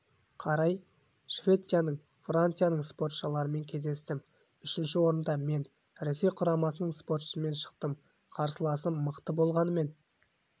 қарай швецияның францияның спортшыларымен кездестім үшінші орында мен ресей құрамасының спортшысымен шықтым қарсыласым мықты болғанымен